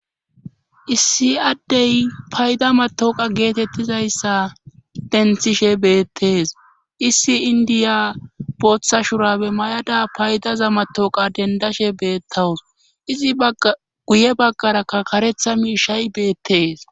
issi addey payda matooqa geetettizayssa denthishe beettees issi indiya booththa shurabe may7ada paydaza matooqa dendashe beettawus izi guye baggarakka karetha miishay beettees